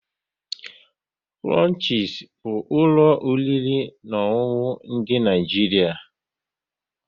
Krushies bụ ụlọ oriri na ọṅụṅụ dị n'Naijiria